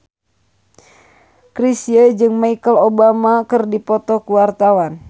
Chrisye jeung Michelle Obama keur dipoto ku wartawan